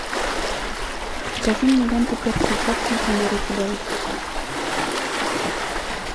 покажи мне ленту перси джексон и море чудовищ